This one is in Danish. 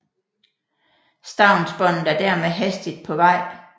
Stavnsbåndet er dermed hastigt på vej